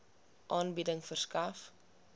aanbieding verskaf